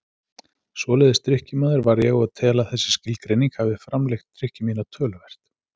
Svoleiðis drykkjumaður var ég og tel að þessi skilgreining hafi framlengt drykkju mína töluvert.